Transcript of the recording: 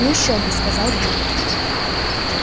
ну ещё бы сказал билл